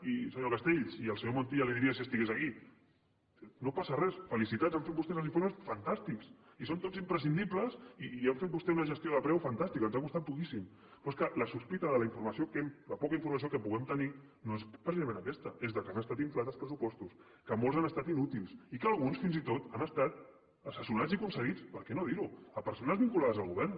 i senyor castells i al senyor montilla li diria si estigués aquí no passa res felicitats han fet vostès els informes fantàstics i són tots imprescindibles i han fet vostès una gestió de preu fantàstica ens ha costat poquíssim però és que la sospita de la informació la poca informació que puguem tenir no és precisament aquesta és que han estat inflats els pressupostos que molts han estat inútils i que alguns fins i tot han estat assessorats i concedits per què no dir ho a persones vinculades al govern